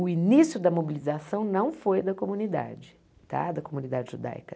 O início da mobilização não foi da comunidade, tá da comunidade judaica.